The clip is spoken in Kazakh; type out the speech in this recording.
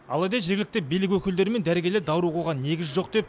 алайда жергілікті билік өкілдері мен дәрігерлер даурығуға негіз жоқ деп